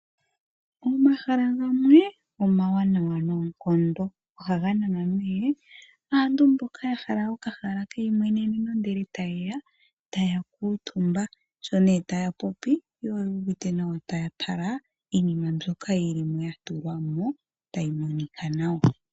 Omahala gamwe omawanwa noonkondo ohaga nana nee aantu mboka ya hala okahaala keyimweneneno ndele tayeya taya kuutumba sho nee taya popi yo oyu uvite nawa taya tala iinima m byoka yili mo ya tulwa mo tayi monika nawa.